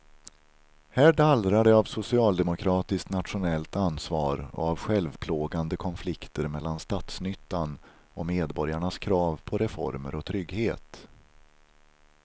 Här dallrar det av socialdemokratiskt nationellt ansvar och av självplågande konflikter mellan statsnyttan och medborgarnas krav på reformer och trygghet.